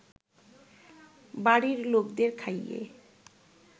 বাড়ির লোকদের খাইয়ে